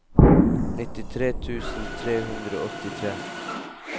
nittitre tusen tre hundre og åttitre